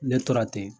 Ne tora ten